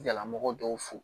Jalamɔgɔ dɔw fu